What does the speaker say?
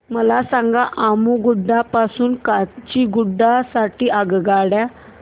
मला सांगा अम्मुगुडा पासून काचीगुडा साठी आगगाडी